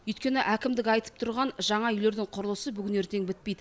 өйткені әкімдік айтып тұрғын жаңа үйлердің құрылысы бүгін ертең бітпейді